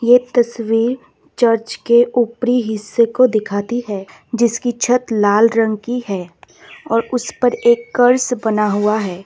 ये तस्वीर चर्च के ऊपरी हिस्से को दिखाती है जिसकी छत लाल रंग की है और उसपर एक कर्स बना हुआ है।